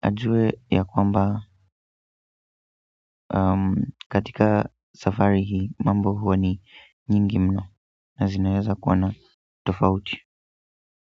ajue ya kwamba katika safari hii mambo huwa ni nyingi mno na zinaweza kuwa na tofauti.